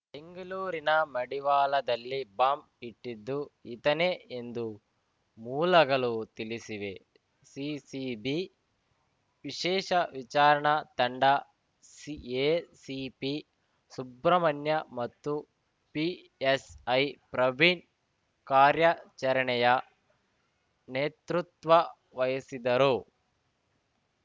ಬೆಂಗಳೂರಿನ ಮಡಿವಾಳದಲ್ಲಿ ಬಾಂಬ್‌ ಇಟ್ಟಿದ್ದು ಈತನೇ ಎಂದು ಮೂಲಗಳು ತಿಳಿಸಿವೆ ಸಿಸಿಬಿ ವಿಶೇಷ ವಿಚಾರಣಾ ತಂಡ ಸಿ ಎಸಿಪಿ ಸುಬ್ರಹ್ಮಣ್ಯ ಮತ್ತು ಪಿಎಸ್‌ಐ ಪ್ರವೀಣ್‌ ಕಾರ್ಯಾಚರಣೆಯ ನೇತೃತ್ವ ವಹಿಸಿದರು